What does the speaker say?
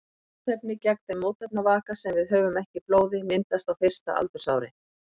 Mótefni gegn þeim mótefnavaka sem við höfum ekki í blóði myndast á fyrsta aldursári.